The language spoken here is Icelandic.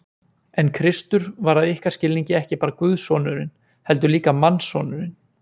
En Kristur var að ykkar skilningi ekki bara guðssonurinn, heldur líka mannssonurinn.